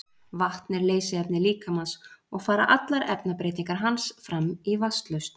vatn er leysiefni líkamans og fara allar efnabreytingar hans fram í vatnslausn